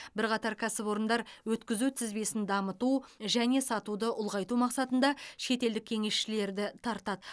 бірқатар кәсіпорындар өткізу тізбесін дамыту және сатуды ұлғайту мақсатында шетелдік кеңесшілерді тартады